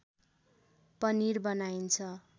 पनिर बनाइन्छ